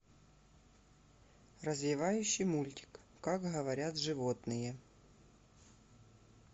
развивающий мультик как говорят животные